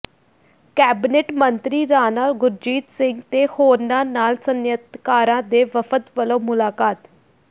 cabinet ਮੰਤਰੀ ਰਾਣਾ ਗੁਰਜੀਤ ਸਿੰਘ ਤੇ ਹੋਰਨਾਂ ਨਾਲ ਸਨਅਤਕਾਰਾਂ ਦੇ ਵਫ਼ਦ ਵੱਲੋਂ ਮੁਲਾਕਾਤ